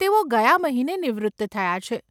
તેઓ ગયા મહિને નિવૃત્ત થયા છે.